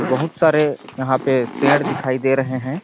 बहुत सारे यहाँ पे पेड़ दिखाई दे रहे है